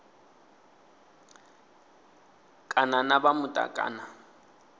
kana na vha muta kana